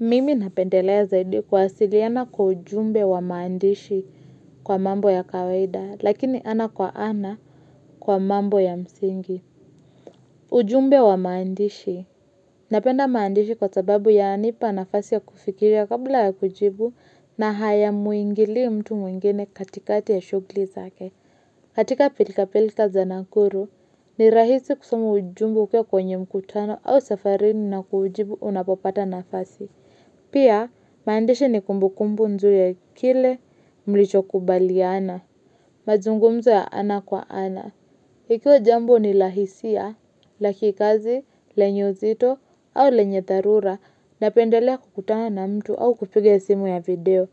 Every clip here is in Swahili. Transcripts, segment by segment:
Mimi napendelea zaidi kuwasiliana kwa ujumbe wa maandishi kwa mambo ya kawaida, lakini ana kwa ana kwa mambo ya msingi. Ujumbe wa maandishi. Napenda maandishi kwa sababu yananipa nafasi ya kufikiria kabla ya kujibu na haya muingili mtu mwingine katikati ya shughuli zake. Katika pilka pilka za nakuru, ni rahisi kusoma ujumbe ukiwa kwenye mkutano au safarini nakuujibu unapopata nafasi. Pia, maandishi ni kumbukumbu nzuri ya kile mlichokubaliana, mazungumzo ya ana kwa ana. Ikiwa jambo ni la hisia, la kikazi, lenye uzito, au lenye dharura, napendelea kukutana na mtu au kupiga simu ya video.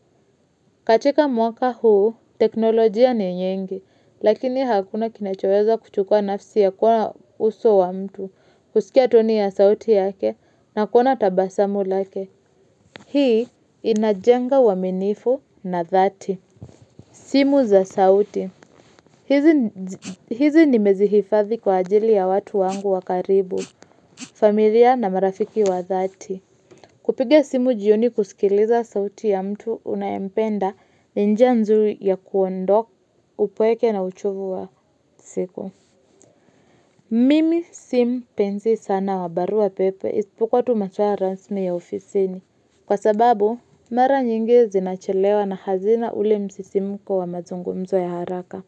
Katika mwaka huu, teknolojia ni nyingi, lakini hakuna kinachoweza kuchukua nafsi ya kuna uso wa mtu, kusikia toni ya sauti yake, na kuona tabasamu lake. Hii inajenga uaminifu na dhati. Simu za sauti. Hizi nimezihifadhi kwa ajili ya watu wangu wa karibu, familia na marafiki wa dhati. Kupiga simu jioni kusikiliza sauti ya mtu unayempenda ni njia nzuri ya kuondoa upweke na uchovu wa siku. Mimi si mpenzi sana wa barua pepe isipokuwa tu maswala rasmi ya ofisini. Kwa sababu, mara nyingi zinachelewa na hazina ule msisimko wa mazungumzo ya haraka.